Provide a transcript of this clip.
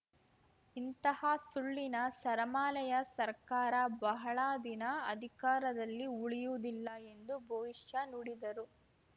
ಇಂಥ ಸುಳ್ಳಿನ ಸರಮಾಲೆಯ ಸರ್ಕಾರ ಬಹಳ ದಿನ ಅಧಿಕಾರದಲ್ಲಿ ಉಳಿಯುವುದಿಲ್ಲ ಎಂದು ಭವಿಷ್ಯ ನುಡಿದರು